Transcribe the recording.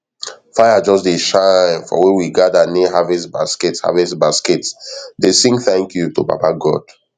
fire just dey shine for where we gather near harvest basket harvest basket dey sing thank you to baba god